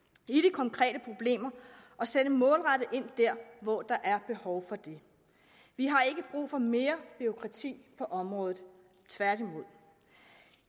konkrete problemer og sætte målrettet ind der hvor der er behov for det vi har ikke brug for mere bureaukrati på området tværtimod